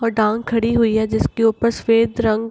और डांग खड़ी हुई है जिसके ऊपर सफ़ेद रंग --